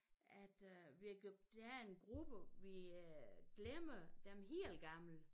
At øh vi der er en gruppe vi øh glemmer dem hel gammel